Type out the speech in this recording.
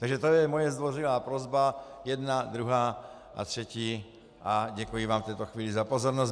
Takže to je moje zdvořilá prosba jedna, druhá a třetí a děkuji vám v této chvíli za pozornost.